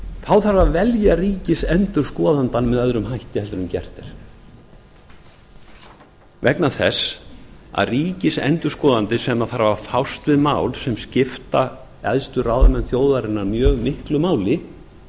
þá þarf að velja ríkisendurskoðandann með öðrum hætti en gert er vegna þess að ríkisendurskoðandi sem þarf að fást við mál sem skipta æðstu ráðamenn þjóðarinnar mjög miklu máli